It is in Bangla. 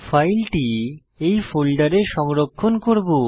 ফাইলটি এই ফোল্ডারে সংরক্ষণ করব